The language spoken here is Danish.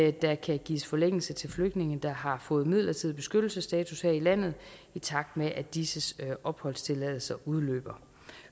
at der kan gives forlængelse til flygtninge der har fået midlertidig beskyttelsesstatus her i landet i takt med at disses opholdstilladelser udløber